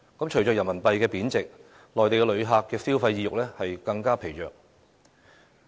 隨着人民幣貶值，內地旅客的消費意欲更疲弱。